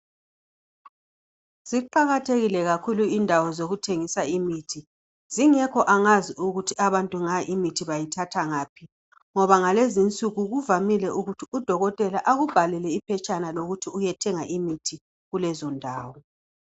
Ziqakathekile kakhulu indawo zokuthengisa imithi. Zingekho angazi ukuthi abantu nga imithi bayithathangaphi ngoba ngalezinsuku kuvamile ukuthi udokotela akubhalele iphetshana lokuthi uyethenga imithi kulezondawo.